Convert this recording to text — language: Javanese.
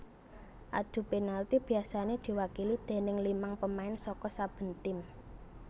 Adu penalti biasané diwakili déning limang pemain saka saben tim